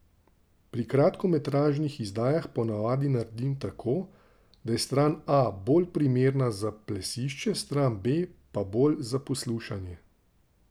Pri kratkometražnih izdajah ponavadi naredim tako, da je stran A bolj primerna za plesišče, stran B pa bolj za poslušanje.